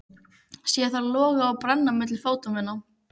Sé þær loga og brenna milli fóta minna.